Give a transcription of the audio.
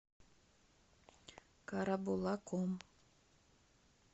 карабулаком